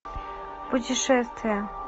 путешествие